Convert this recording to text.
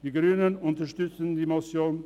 Die Grünen unterstützen die Motion.